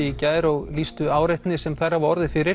í gær og lýstu áreitni sem þær hafa orðið fyrir